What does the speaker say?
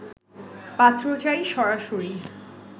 পাত্র চাই সরাসরি